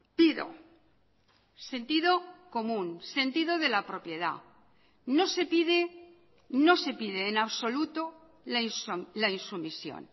pido sentido común sentido de la propiedad no se pide no se pide en absoluto la insumisión